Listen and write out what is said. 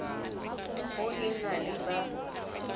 ho e na le ba